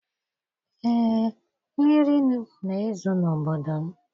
Ee, mmiri na-ezo n'obodo m.